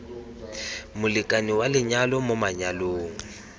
molekane wa lenyalo mo manyalong